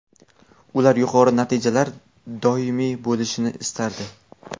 Ular yuqori natijalar doimiy bo‘lishini istardi.